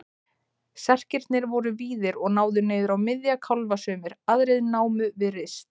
Serkirnir voru víðir og náðu niður á miðja kálfa sumir, aðrir námu við rist.